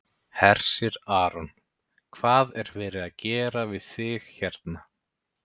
Hersir Aron: Hvað er verið að gera við þig hérna?